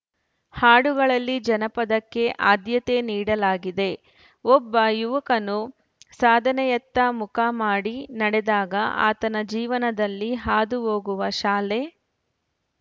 ಹಾಡುಗಳಲ್ಲಿ ಜನಪದಕ್ಕೆ ಆದ್ಯತೆ ನೀಡಲಾಗಿದೆ ಒಬ್ಬ ಯುವಕನು ಸಾಧನೆಯತ್ತ ಮುಖ ಮಾಡಿ ನಡೆದಾಗ ಆತನ ಜೀವನದಲ್ಲಿ ಹಾದು ಹೋಗುವ ಶಾಲೆ